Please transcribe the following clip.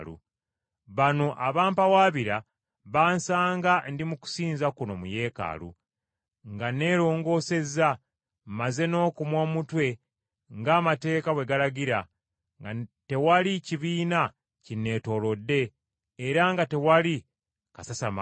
Bano abampawaabira bansanga ndi mu kusinza kuno mu Yeekaalu, nga nneerongoosezza, mmaze n’okumwa omutwe ng’amateeka bwe galagira, nga tewaliiwo kibiina kinneetoolodde, era nga tewali kasasamalo.